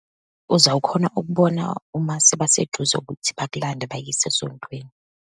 Uzawukhona ukubona uma sebaseduze ukuthi bakulande bakuyise esontweni.